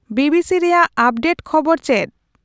B B C ᱨᱮᱭᱟᱜ update ᱠᱷᱚᱵᱚᱨ ᱪᱮᱫ